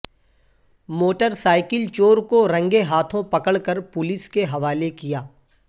motor cycle چور کو رنگے ہاتھوں پکڑ کر پولیس کے حوالے کیا